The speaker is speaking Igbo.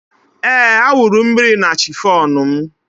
Ee, a wụrụ mmiri na chifọn m